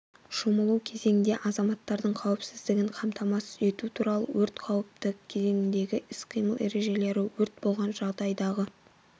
шомылу кезеңінде азаматтардың қауіпсіздігін қамтамасыз ету туралы өрт қауіпті кезеңдегі іс-қимыл ережелері өрт болған жағдайдағы